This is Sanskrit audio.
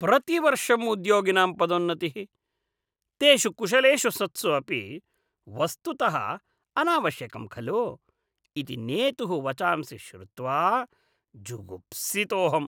प्रतिवर्षं उद्योगिनां पदोन्नतिः, तेषु कुशलेषु सत्सु अपि वस्तुतः अनावश्यकं खलु? इति नेतुः वचांसि श्रुत्वा जुगुप्सितोऽहम्।